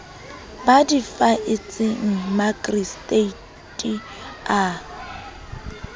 ba di faetseng makgistrata a